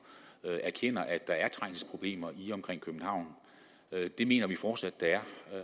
erkender at der er trængselsproblemer i og omkring københavn det mener vi fortsat der er